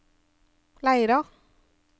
Leira